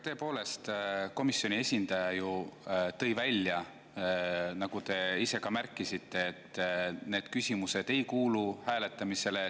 Tõepoolest, komisjoni esindaja ju tõi välja, nagu te ise ka märkisite, et need küsimused ei kuulu hääletamisele.